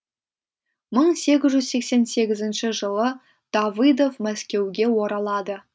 мың сегіз жүз сексен сегізінші жылы давыдов мәскеуге оралады